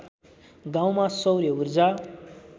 गाउँमा सौर्य ऊर्जा